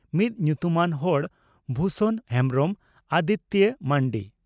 ᱢᱤᱫ ᱧᱩᱛᱩᱢᱟᱱ ᱦᱚᱲ ᱵᱷᱩᱥᱚᱱ ᱦᱮᱢᱵᱽᱨᱚᱢ (ᱟᱫᱤᱛᱤᱭᱚ ᱢᱟᱱᱰᱤ)